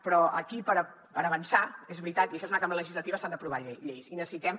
però aquí per avançar és veritat i això és una cambra legislativa s’han d’aprovar lleis i necessitem